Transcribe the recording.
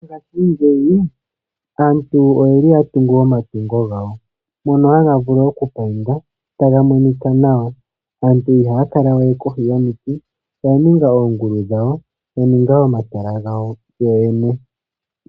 Mongashingeyi aantu oyeli ya tunga omatungo gawo, moka gaga vulu oku payindwa taga monika nawa. Aantu ihaya kala we kohi yomuti, oya ninga oongulu dhawo, ya ninga omatala gawo yo yene.